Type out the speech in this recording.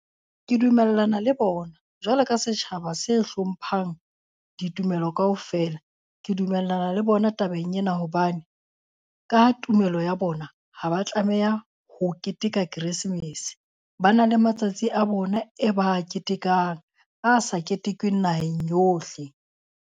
Ke dumellana le bona jwalo ka setjhaba se hlomphang ditumelo kaofela. Ke dumellana le bona tabeng ena, hobane ka tumelo ya bona ha ba tlameha ho keteka Keresemese, ba na le matsatsi a bona e ba a ketekang a sa ketekweng naheng yohle.